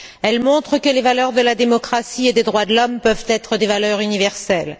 Elles montrent que les valeurs de la démocratie et des droits de l'homme peuvent être des valeurs universelles.